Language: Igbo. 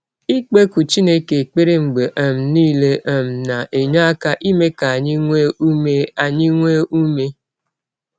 Ikpekụ Chineke ekpere mgbe um nile um na - enye aka eme ka anyị nwee ụme anyị nwee ụme.